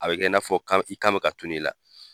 A bɛ kɛ i n'a fɔ kan i kan bɛ ka tunu i la.